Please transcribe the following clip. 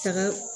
Taga